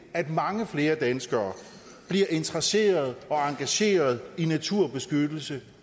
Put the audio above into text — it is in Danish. at mange flere danskere bliver interesserede og engagerede i naturbeskyttelse